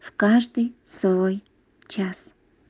каждый свой час